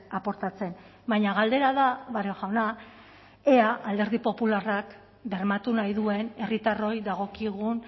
aportatzen baina galdera da barrio jauna ea alderdi popularrak bermatu nahi duen herritarroi dagokigun